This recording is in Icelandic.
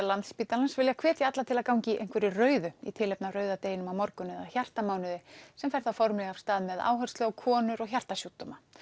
Landspítalans vilja hvetja alla til að ganga í einhverju rauðu í tilefni af rauða deginum á morgun eða hjartamánuði sem fer þá formlega af stað með áherslu á konur og hjartasjúkdóma